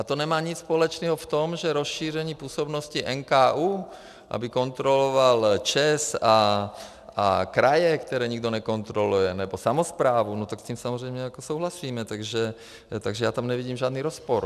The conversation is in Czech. A to nemá nic společného v tom, že rozšíření působnosti NKÚ, aby kontroloval ČEZ a kraje, které nikdo nekontroluje, nebo samosprávu, no tak s tím samozřejmě jako souhlasíme, takže já tam nevidím žádný rozpor.